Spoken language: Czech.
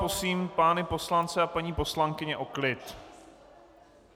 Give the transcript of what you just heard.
Prosím pány poslance a paní poslankyně o klid.